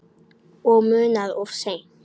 Og munað of seint.